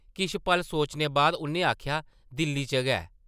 किश पल सोचने बाद उʼन्नै आखेआ, दिल्ली च गै ।